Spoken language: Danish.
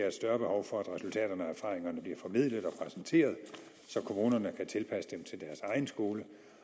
et større behov for at resultaterne og erfaringerne bliver formidlet og præsenteret så kommunerne kan tilpasse dem til deres egen skole